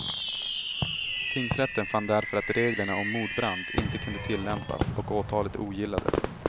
Tingsrätten fann därför att reglerna om mordbrand inte kunde tillämpas och åtalet ogillades.